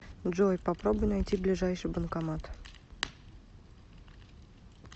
джой попробуй найти ближайший банкомат